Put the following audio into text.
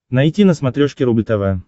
найти на смотрешке рубль тв